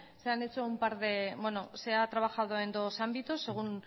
se ha trabajado en dos ámbitos según